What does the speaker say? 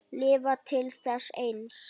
Lifa til þess eins.